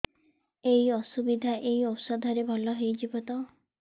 ଏଇ ଅସୁବିଧା ଏଇ ଔଷଧ ରେ ଭଲ ହେଇଯିବ ତ